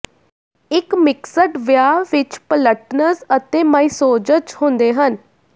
ਇੱਕ ਮਿਕਸਡ ਵਿਆਹ ਵਿੱਚ ਪਲਟਨਜ਼ ਅਤੇ ਮਾਈਸੌਸਜ਼ ਹੁੰਦੇ ਹਨ